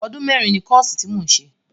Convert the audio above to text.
Ọdún mẹ́rin ni kọ́ọ̀sì tí mò ń ṣe